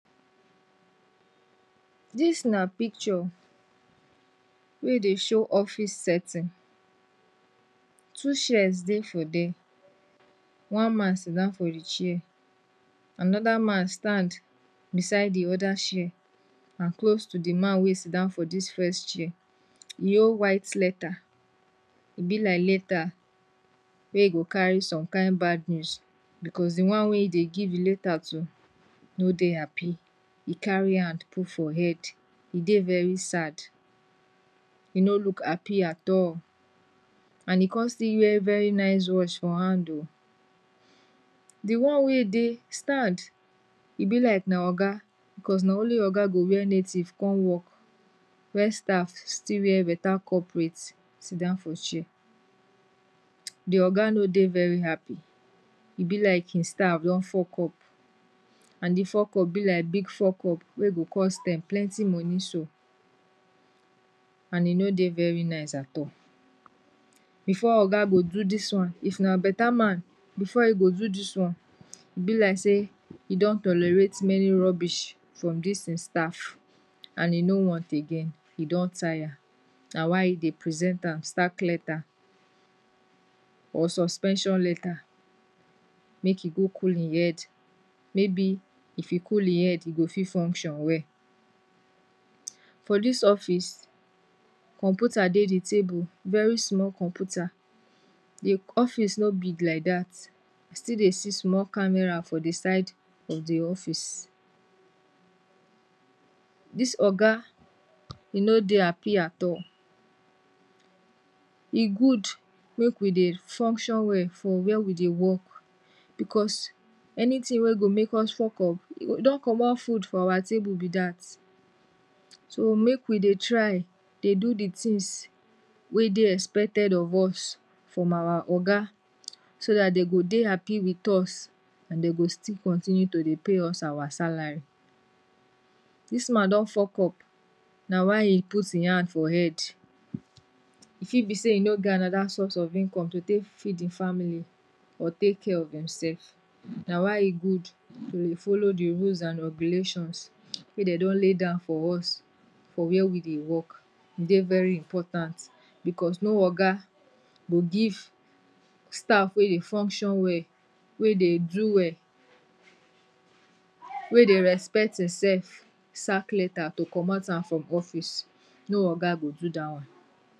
dis na Picture wey Dey show office setting two shares Dey for dier, one man Sidown for hin share, anoda man stand beside the oda share and close to the man wey sidan for dis first share, e hol white letter, e be like letter wey go carry some kind bad news bcuz the wan wey Dey give the letter to no Dey happy, e carry hand put for head, e Dey very sad, e no look happy atal and in con still wear very nice watch for hand o, the one wey stand, e be like na Oya bcuz na only Oga go wear native come work wey staff still wear better corporate sidown for share, the oga no Dey very happy, e be like hin staff don fuck up, and the fuck up be like big fuck up wey go cost dem plenty money so, and e no Dey very nice atal, before oga go do dis wan, if na beta man, before e go do dis wan, e be like say e don tolorate many rubbish from dis in staff and in no want again, in don tire, na why e Dey present am sack letter or suspension letter make in go cool im head, maybe if in cool im head, in go fit function well, for dis office, computer Dey the table, very small computer, the office no big lai dat, e still Dey see small camera for the side of the office, dis oga, e no Dey happy atal, e good, make we Dey function wel for Wer we Dey work because anything wey go make us fuck up, e e don comot food from our table be dat, so make we Dey try Dey do the tins wey Dey espeted of us from our oga so dat dem go Dey happy with us and den go still continue to Dey pay us our salary, dis man don fuck up na why in put in hand for head, e fit be say e no get anoda source of income to take feed im family or take care of demsef, na why e good to Dey follow the rules and regulations wey den don lay down for us for Wer we Dey work, e Dey very important bcuz no oga go give staff wey Dey function wel, wey Dey do well, wey Dey respect hinsef sack letter to comot am for office, no oga go do dah one.